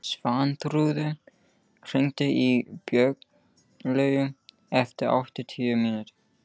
Svanþrúður, hringdu í Björnlaugu eftir áttatíu mínútur.